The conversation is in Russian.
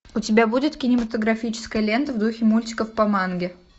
у тебя будет кинематографическая лента в духе мультиков по манге